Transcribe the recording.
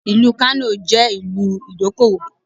Ìlú Kano jẹ́ ìlú ìdókòwò.